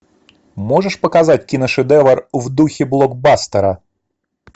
можешь показать киношедевр в духе блокбастера